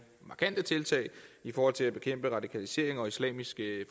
markante tiltag i forhold til at bekæmpe radikalisering og islamisk